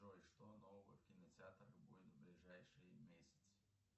джой что нового в кинотеатрах будет в ближайшие месяцы